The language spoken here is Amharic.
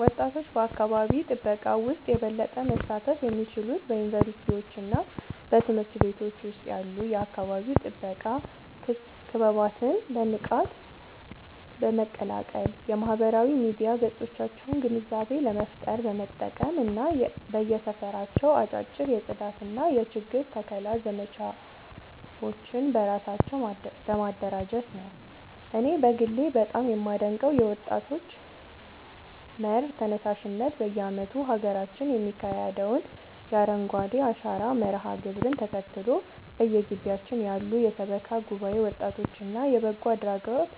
ወጣቶች በአካባቢ ጥበቃ ውስጥ የበለጠ መሳተፍ የሚችሉት በዩኒቨርሲቲዎችና በትምህርት ቤቶች ውስጥ ያሉ የአካባቢ ጥበቃ ክበባትን በንቃት በመቀላቀል፣ የማህበራዊ ሚዲያ ገጾቻቸውን ግንዛቤ ለመፍጠር በመጠቀም እና በየሰፈራቸው አጫጭር የጽዳትና የችግኝ ተከላ ዘመቻዎችን በራሳቸው በማደራጀት ነው። እኔ በግሌ በጣም የማደንቀው የወጣቶች መር ተነሳሽነት በየዓመቱ በሀገራችን የሚካሄደውን የአረንጓዴ አሻራ መርሃ ግብርን ተከትሎ፣ በየግቢያችን ያሉ የሰበካ ጉባኤ ወጣቶችና የበጎ አድራጎት